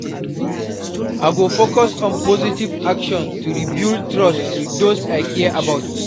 I go focus on positive actions to rebuild trust with those I care about.